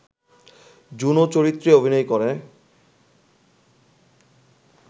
Juno চরিত্রে অভিনয় করে